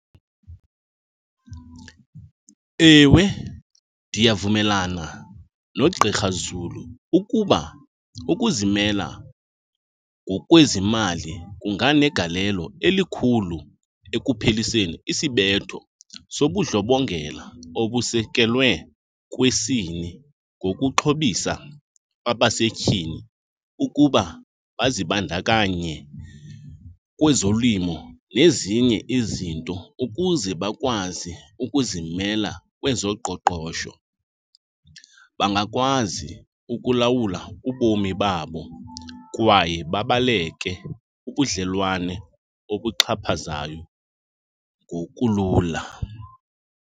Ewe, ndiyavumelana nogqirha Zulu ukuba ukuzimela ngokwezimali kunganegalelo elikhulu ekupheliseni isibetho sobudlobongela obusekelwe kwisini ngokuxhobisa abasetyhini ukuba bazibandakanye kwezolimo nezinye izinto ukuze bakwazi ukuzimela kwezoqoqosho. Bangakwazi ukulawula ubomi babo kwaye babaleke ubudlelwane obuxhaphazayo ngokulula.